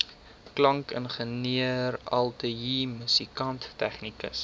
klankingenieur ateljeemusikant tegnikus